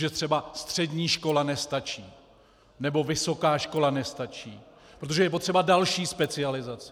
Že třeba střední škola nestačí, nebo vysoká škola nestačí, protože je potřeba další specializace.